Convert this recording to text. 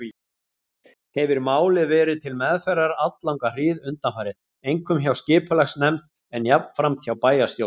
Hefir málið verið til meðferðar alllanga hríð undanfarið, einkum hjá skipulagsnefnd, en jafnframt hjá bæjarstjórn.